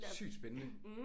Sygt spændende!